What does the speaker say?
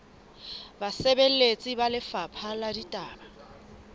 basebeletsi ba lefapha la ditaba